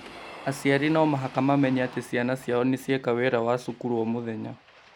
Aciari no mũhaka mamenye atĩ ciana ciao nĩ cieka wĩra wa cukuru o mũthenya